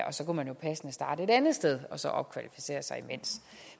og så kunne man passende starte et andet sted og så opkvalificere sig imens